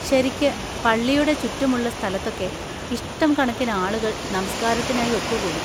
ശരിക്ക്, പള്ളിയുടെ ചുറ്റും ഉള്ള സ്ഥലത്തൊക്കെ ഇഷ്ടംകണക്കിന് ആളുകൾ നമസ്കാരത്തിനായി ഒത്തുകൂടും.